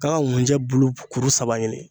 K'a ka ŋunjɛ bulu pu kuru saba ɲini